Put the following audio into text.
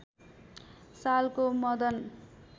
सालको मदन